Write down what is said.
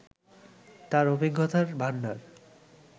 তার অভিজ্ঞতার ভাণ্ডার